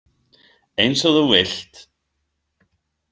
Eins og þú vilt.